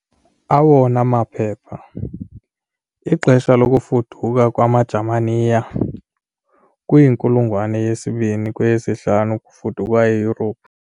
Awona maphepha- Ixesha lokufuduka kwamaJamaniya Kwinkulungwane yesibini - kweyesihlanu kufudukwa eYurophu.